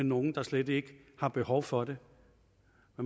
nogle der slet ikke har behov for det